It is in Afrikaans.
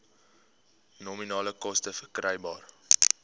nominale koste verkrygbaar